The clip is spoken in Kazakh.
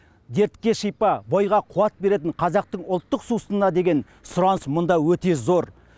дертке шипа бойға қуат беретін қазақтың ұлттық сусынына деген сұраныс мұнда өте зор